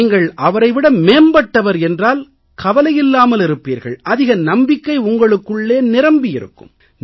நீங்கள் அவரை விட மேம்பட்டவர் என்றால் கவலை இல்லாமல் இருப்பீர்கள் அதிக நம்பிக்கை உங்களுக்குள்ளே நிரம்பியிருக்கும்